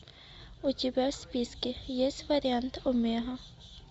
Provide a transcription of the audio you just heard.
у тебя в списке есть вариант омега